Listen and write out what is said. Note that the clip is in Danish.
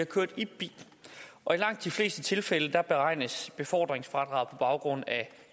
kørt i bil og i langt de fleste tilfælde beregnes befordringsfradraget på baggrund af